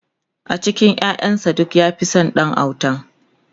a cikin ƴaƴan sa duk ya Fi San Ɗan autan